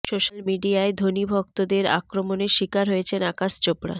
social মিডিয়ায় ধোনি ভক্তদের আক্রমণের শিকার হয়েছেন আকাশ চোপড়া